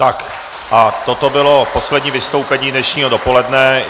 Tak a toto bylo poslední vystoupení dnešního dopoledne.